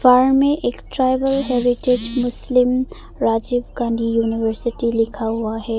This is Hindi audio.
दीवार में एक tribal habitat Muslim Rajiv Gandhi university लिखा हुआ है।